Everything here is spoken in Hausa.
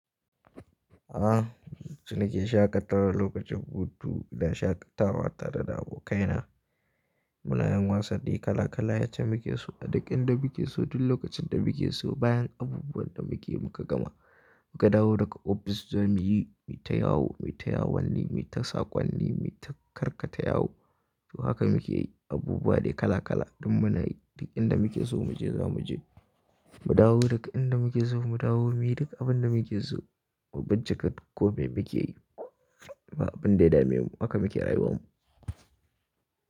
Ah, so nake shaƙatawa lokacin hutu don shaƙatawa tare da abokaina. Muna yin wasanni kala kala yace muke so a duk inda muke so, duk lokacin da muke so. Bayan abubuwan da muke muka gama, muka dawo daga ofis zamuyi, mita yawo, mita yawon ni, mita sakon ni, mita karkata yawo. To haka muke yi abubuwa dai kala kala. Duk muna yi duk inda muke so mu je zamu je. Mu dawo daga inda muke so mu dawo, muyi duk abin da muke so. Mu bincika duk kome muke yi. Ba abin da ya dame mu. Haka muke rayuwan mu.